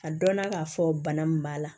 Ka dɔnna k'a fɔ bana min b'a la